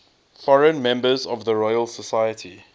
foreign members of the royal society